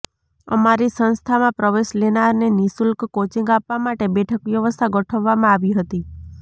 અમારી સંસ્થામાં પ્રવેશ લેનારને નિશુલ્ક કોચીંગ આપવા માટે બેઠક વ્યવસ્થા ગોઠવવામાં આવી હતી